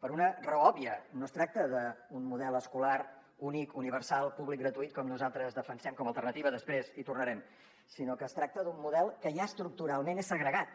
per una raó òbvia no es tracta d’un model escolar únic universal públic gratuït com nosaltres defensem com a alternativa després hi tornarem sinó que es tracta d’un model que ja estructuralment és segregat